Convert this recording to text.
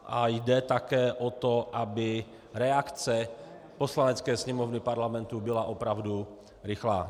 A jde také o to, aby reakce Poslanecké sněmovny Parlamentu byla opravdu rychlá.